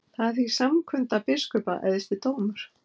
Þar er því samkunda biskupa æðsti dómur.